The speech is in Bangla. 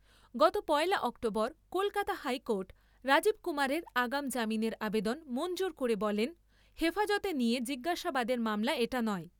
গত পয়লা অক্টোবর কলকাতা হাইকোর্ট রাজীব কুমারের আগাম জামিনের আবেদন মঞ্জুর করে বলেন , হেফাজতে নিয়ে জিজ্ঞাসাবাদের মামলা এটা নয়।